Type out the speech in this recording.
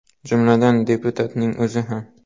Jumladan, deputatning o‘zi ham.